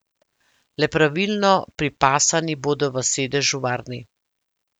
Le pravilno pripasani bodo v sedežu varni.